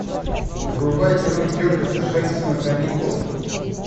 врубай кино кертиса хэнсена каникулы